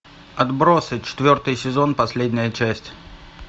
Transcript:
отбросы четвертый сезон последняя часть